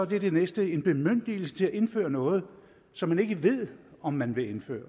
det er det næste en bemyndigelse til at indføre noget som man ikke ved om man vil indføre